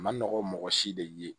A ma nɔgɔ mɔgɔ si de ye